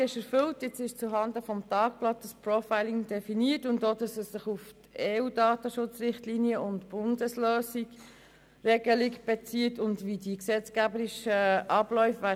Das Profiling ist nun zuhanden des Tagblatts definiert, ebenso, dass es sich auf EU-Datenschutzrichtlinien und die Regelung des Bundes bezieht und wie die gesetzgeberischen Abläufe sein werden.